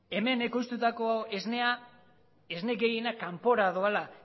hemen ekoiztutako esnea esne gehiena kanpora doala